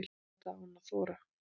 Auðvitað á hann að þora.